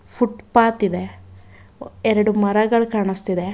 Footpath ಇದೆ ಎರಡು ಮರಗಳು ಕಾಣಿಸ್ತಿದೆ.